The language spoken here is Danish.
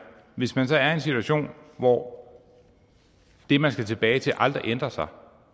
hvis man så er i en situation hvor det man skal tilbage til aldrig ændrer sig